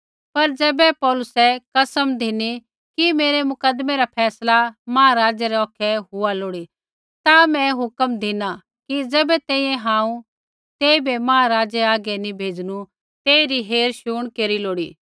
पर ज़ैबै पौलुसै कसम धिनी कि मेरै मुकदमै रा फैसला महाराज़ै रै औखै हुआ लोड़ी ता मैं हुक्मा धिना कि ज़ैबै तैंईंयैं हांऊँ तेइबै महाराज़ै हागै नी भेज़नू तेइबै पौहरा